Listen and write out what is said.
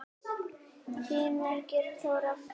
Þín, Margrét Þóra.